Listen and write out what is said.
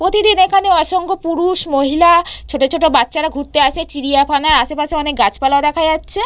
প্রতিদিন এখানে অসংখ্য পুরুষ মহিলা ছোট ছোট বাচ্চারা ঘুরতে আসে। চিড়িয়াখানায় আশেপাশে অনেক গাছপালা দেখা যাচ্ছে।